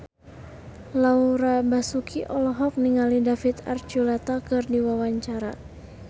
Laura Basuki olohok ningali David Archuletta keur diwawancara